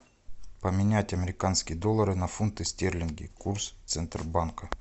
поменять американские доллары на фунты стерлинги курс центробанка